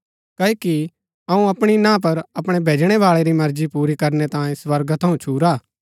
क्ओकि अऊँ अपणी ना पर अपणै भैजणै बाळै री मर्जी पूरी करनै तांयें स्वर्गा थऊँ छुरा